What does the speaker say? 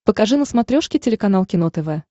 покажи на смотрешке телеканал кино тв